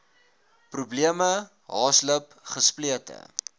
probleme haaslip gesplete